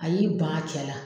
A y'i ban a cɛ la.